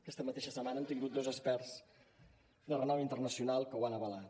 aquesta mateixa setmana hem tingut dos experts de renom internacional que ho han avalat